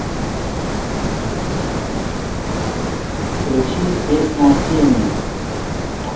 включи песня осенняя